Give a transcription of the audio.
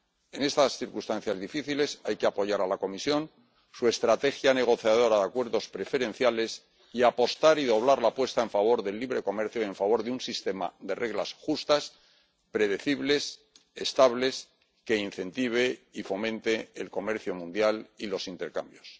En estas circunstancias difíciles hay que apoyar a la Comisión, su estrategia negociadora de acuerdos preferenciales, y apostar y doblar la apuesta en favor del libre comercio y en favor de un sistema de reglas justas, predecibles, estables, que incentive y fomente el comercio mundial y los intercambios.